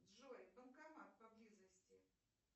джой банкомат поблизости